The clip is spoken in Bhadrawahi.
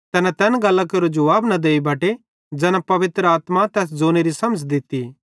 तैना तैन गल्लां केरो जुवाब न देई बटे ज़ैना पवित्र आत्मा तैस ज़ोनेरी समझ़ दित्ती